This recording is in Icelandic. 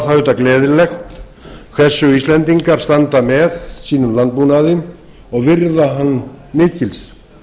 auðvitað gleðilegt hversu íslendingar standa með sínum landbúnaði og virða hann mikils